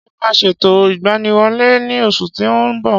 Ṣé ẹ ma ṣètò ìgbaniwọlé ní oṣù tí o nbọ